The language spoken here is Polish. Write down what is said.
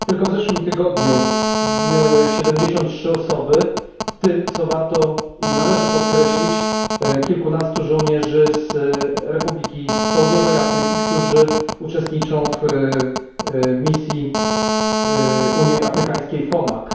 Tylko w zeszłym tygodniu zginęły 73 osoby, w tym co warto i należy podkreślić kilkunastu żołnierzy z Republiki Południowej Afryki, którzy uczestniczą w misji Unii Afrykańskiej FOMAC.